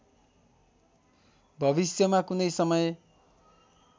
भविष्यमा कुनै समय